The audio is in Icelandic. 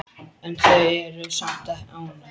En þau eru samt ágæt.